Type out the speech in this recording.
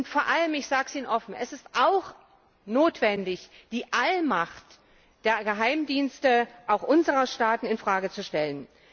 Und vor allem ich sage es Ihnen offen ist es auch notwendig, die Allmacht der Geheimdienste auch unserer Staaten in Frage zu stellen.